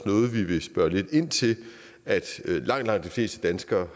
noget vi vil spørge lidt ind til at langt langt de fleste danskere